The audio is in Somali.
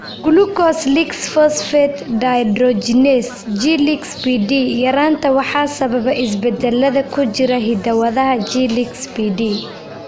Glucose lix phosphate dehydrogenase (G lix PD) yaraanta waxaa sababa isbeddellada ku jira hidda-wadaha G lix PD.